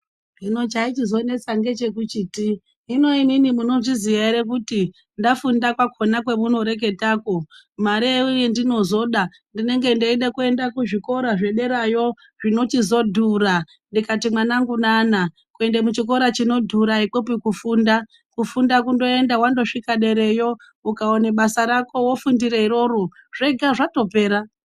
Hino chaichizonesa ndechekuchiti hino imimi munozviziya ere kuti ndafunda kwakona kwamunoreketako ,mare yandinozoda ndinengendeida kuenda kuzvikora zvederayo zvinochizodhura ndikati mwanangu nana kuenda kuchikora chinodhura ikwopi kufunda , kufunda kundoenda wandosvika dereyo ukaona basa rako wofundire iroro zvega zvatopera.